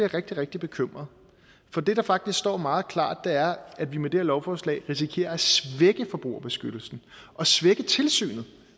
rigtig rigtig bekymret for det der faktisk står meget klart er at vi med det her lovforslag risikerer at svække forbrugerbeskyttelsen og svække tilsynet